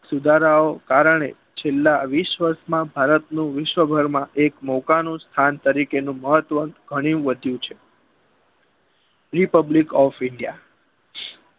સુધારાઓ કારણે છેલ્લા વિસ વરસમાં ભારત નું વિશ્વ ભરમાં એક મોકાનું સ્થાન તરીકે નું મહત્વ ઘણું વધ્યું છે જે republic of india